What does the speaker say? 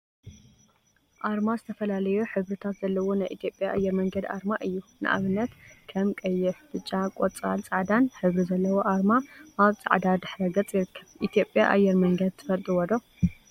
አርማ ዝተፈላለዩ ሕብሪታት ዘለዋ ናይ ኢትዮጵያ አየር መንገድ አርማ እዩ፡፡ ንአብነት ከም ቀይሕ፣ ብጫ፣ ቆፃልን ፃዕዳን ሕብሪ ዘለዎ አርማ አብ ፃዕዳ ድሕረ ገፅ ይርከብ፡፡ ኢትዮጵያ አየር መንገድ ትፈልጥዎ ዶ?